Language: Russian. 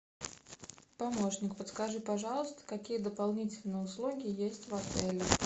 помощник подскажи пожалуйста какие дополнительные услуги есть в отеле